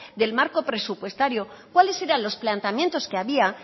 del marco presupuestario cuáles eran los planteamientos que había